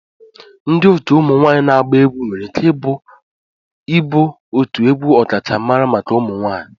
Ndị otu ụmụ nwanyị na-agba egwu nwere ike ịbụ otu egwu ọkachamara maka ụmụ nwanyị